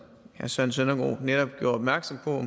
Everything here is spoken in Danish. herre søren søndergaard netop gjorde opmærksom på